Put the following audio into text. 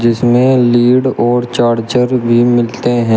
जिसमें लीड और चार्जर भी मिलते हैं।